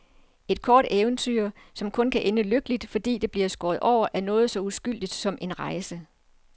Et kort eventyr, som kun kan ende lykkeligt, fordi det bliver skåret over af noget så uskyldigt som en rejse.